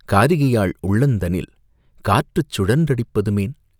காரிகையாள் உள்ளந்தனில் காற்றுச் சுழன் றடிப்பதுமேன்?".